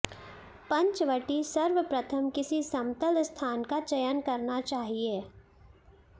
पंचवटी सर्वप्रथम किसी समतल स्थान का चयन करना चाहिए